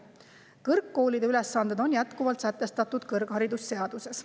Kõrgkoolide ülesanded on jätkuvalt sätestatud kõrgharidusseaduses.